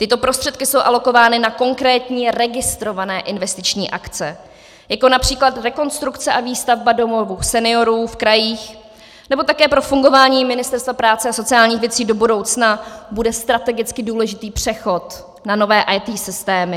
Tyto prostředky jsou alokovány na konkrétní registrované investiční akce, jako například rekonstrukce a výstavba domovů seniorů v krajích, nebo také pro fungování Ministerstva práce a sociálních věcí do budoucna bude strategicky důležitý přechod na nové IT systémy.